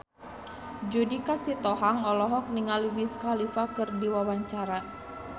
Judika Sitohang olohok ningali Wiz Khalifa keur diwawancara